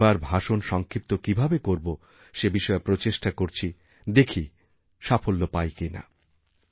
কিন্তু এবার ভাষণ সংক্ষিপ্ত কীভাবে করবো সে বিষয়েপ্রচেষ্টা করছি দেখি সাফল্য পাই কি না